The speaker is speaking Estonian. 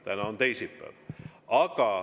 Täna on teisipäev.